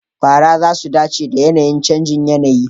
fara za su dace da yAnayin canjin yAnayi